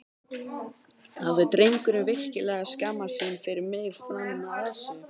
Hafði drengurinn virkilega skammast sín fyrir mig fram að þessu?